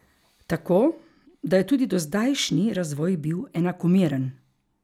Tako, da je tudi dozdajšnji razvoj bil enakomeren.